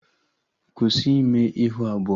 Kwụsị ime ihu abụọ!